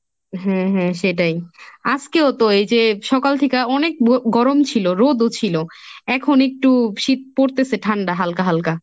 হ্যাঁ হ্যাঁ সেটাই, আজকেও তো এই যে সকাল থিকা অনেক রো~ গরম ছিল, রোদও ছিল, এখন একটু শীত পড়তেছে ঠান্ডা হালকা হালকা।